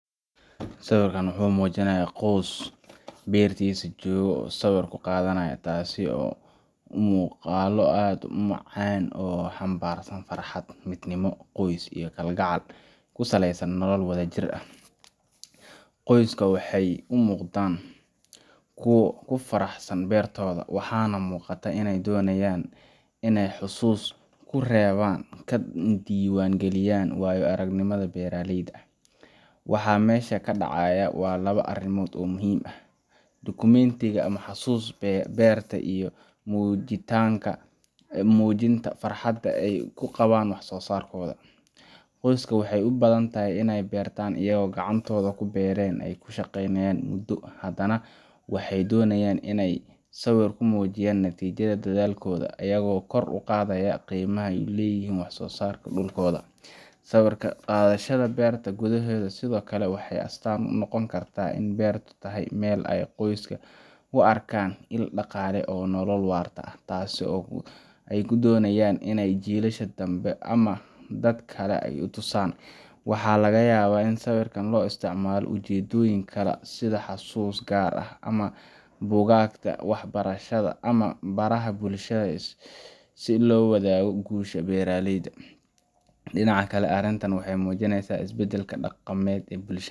Sawarkan wuxu mujinaya qoys bertisa joga oo sawar kuqadhanayo tasi oo muuqalo add umacan o hambarsan farxad midnimo qoys iyo kalgacal kusalesan nolol wadha jir ahh, qoyska waxey umuqdan kuwa kufaraxsan bertodha waxana muqata iney donayan iney xasus kureban kana diwan galiyan waya aragnimadha beraleyda, waxa mesha kadacaya wa laba arimod oo muhim ahh, documentiga ama xasusta berta iyo mujinta farxada eyy kuqaban wax sosarkodha, qoyska waxey ubadhantahay iney bertan ayago gacantodha kuberten ey kushaqeynayan mudo hadana waxey donayay iney sawir kumujiyan natijadha dadhalkodha aygo kor uqadha qimaha eyy leyihin wax sosarka dulkodha, sawir qadhashadha berta gudhahedha sidhokale waxey astan unooqon karta in bertu tahay mel ey qoyska uaka il daqale oo nolol warta ahh tas oy kudonayan in jilisha danbe ama dadkle ey utusan, waxa lagayaba in sawirkan loisticmalo ulajedoyin gar ahh, sidha xasusta gar ah ama bugagta wax barashadha ama baraha bulshadha sii lowadhago gusha beraleyda, dinaca kala arintan waxey mujineysa isbadalka daqamed ee bulshadha.